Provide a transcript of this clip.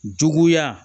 Juguya